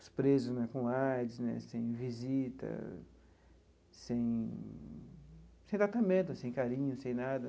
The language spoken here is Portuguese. os presos né com AIDS né, sem visita, sem sem tratamento, sem carinho, sem nada.